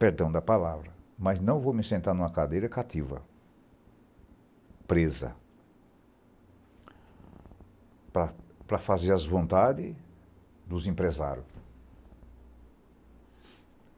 Perdão da palavra, mas não vou me sentar em uma cadeira cativa, presa, para para fazer as vontades dos empresário.